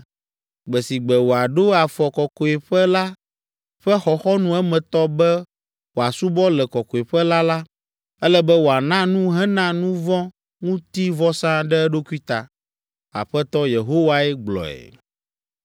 Gbe si gbe wòaɖo afɔ kɔkɔeƒe la ƒe xɔxɔnu emetɔ be wòasubɔ le kɔkɔeƒe la la, ele be wòana nu hena nuvɔ̃ŋutivɔsa ɖe eɖokui ta. Aƒetɔ Yehowae gblɔe.